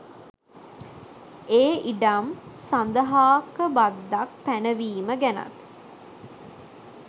ඒ ඉඩම් සඳහාක බද්දක් පැනවීම ගැනත්.